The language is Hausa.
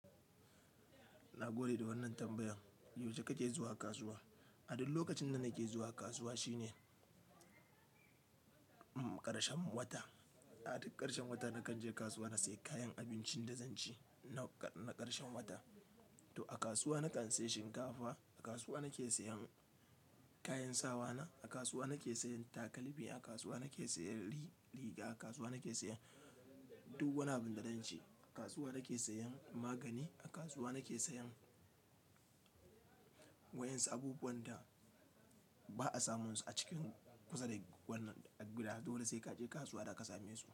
Na gode da wannan tambayan. Yaushe kake zuwa kasuwa? A duk lokacin da nake zuwa kasuwa shine ƙarshen wata. A duk ƙarshen wata nakan je kasuwa na sayi kayan abincin da zanci na ƙarshen wata. To a kasuwa nakan sayi shinkafa, a kasuwa nake sayan kayan sawa na, a kasuwa nake sayan takalmi, a kasuwa nake sayan riga, a kasuwa nake sayan duk wani abun da zanci. A kasuwa nake sayan magani, a kasuwa nake sayan wa'yansu abubuwan da ba'a samun su a cikin kusa da wannan gida. Dole sai kaje kasuwa daka same su.